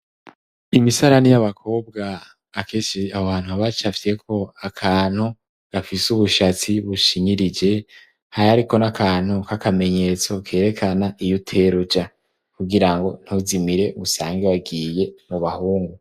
Imisarani y'abakobwa akeshi aho hantu haba hafyeko akantu gafise ubushatsi bushinyirije hariko n'akantu kakamenyetso kerekana iyuteruja kugira ngo ntuzimire usange wagiye mu bahungu.